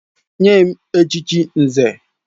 Nye m echichi Nze!